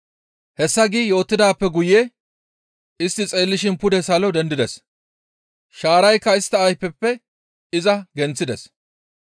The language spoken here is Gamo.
Hessa gi yootidaappe guye istti xeellishin pude salo dendides; shaaraykka istta ayfeppe iza genththides.